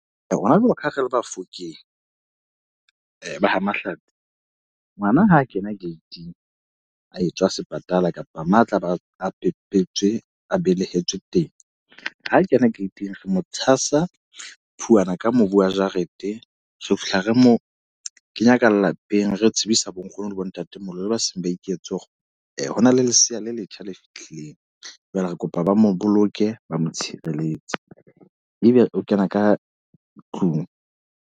Rona jwale ka ha re le Bafokeng, ba ha . Ngwana ha a kena gate-ing, a etswa sepatala kapa mo a tlabe a pepetswe a belehetswe teng. Ha kena gate-ing, re mo tshasa phuwana ka mobu wa jarete. Re fihla re mo kenya ka lapeng. Re tsebisa bonkgono le bontatemoholo le ba seng ba iketse hore hona le lesea le letjha le fihlileng. Jwale re kopa ba mo boloke, ba mo tshireletsa. E be o kena ka tlung.